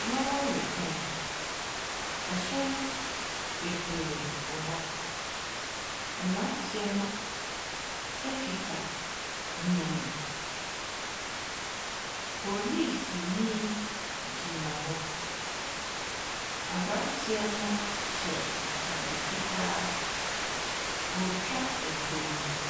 Lɔɔre kwan, ahyɛn bebree wɔ hɔ. Mmeranteɛ no kita nneɛma. Polisini gyina hɔ. Aberanteɛ no hyɛ atadeɛ fitaa ɔretwa mfonin.